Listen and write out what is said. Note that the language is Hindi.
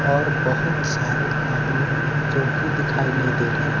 और बहुत सारे आदमी है जोकि दिखाई नहीं दे रहे हैं।